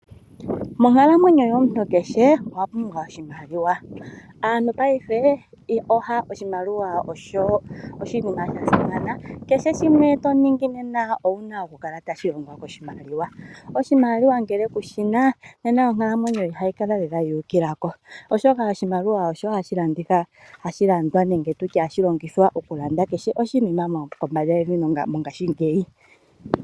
Monkalamwenyo yomuntu kehe owa pumbwa oshimaliwa. Oshimaliwa osho oshinima sha simana. Kehe shimwe to ningi nena ou na okukala tashi longwa koshimaliwa. Oshimaliwa ngele kushi na nena onkalamwenyo ihayi kala lela yu ukila ko, oshoka oshimaliwa osho hashi longithwa okulanda kehe oshinima mokamba yevi mongashingeyi.